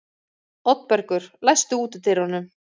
Oddbergur, læstu útidyrunum.